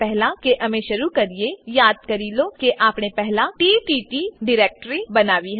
એ પહેલા કે અમે શરુ કરીએ યાદ કરી લો કે આપણે પહેલા તત્ત ડીરેક્ટરી બનાવી હતી